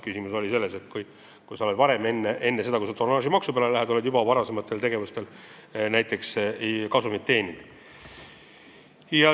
Küsimus oli selle kohta, kui sa oled enne selle tonnaažimaksu peale minemist juba varasemate tegevustega kasumit teeninud.